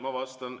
Ma vastan.